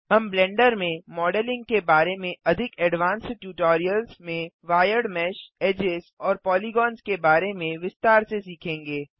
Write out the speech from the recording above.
हम ब्लेंडर में मॉडलिंग के बारे में अधिक एडवान्स्ड ट्यूटोरियल्स में वायर्ड मेश एडजेस और पॉलीगॉन्स के बारे में विस्तार से सीखेंगे